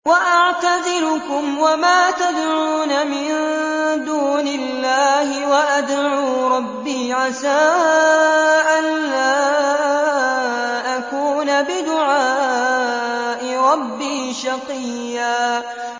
وَأَعْتَزِلُكُمْ وَمَا تَدْعُونَ مِن دُونِ اللَّهِ وَأَدْعُو رَبِّي عَسَىٰ أَلَّا أَكُونَ بِدُعَاءِ رَبِّي شَقِيًّا